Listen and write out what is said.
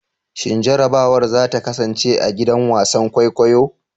Shin jarrabawar za ta kasance a gidan wasan kwaikwayo?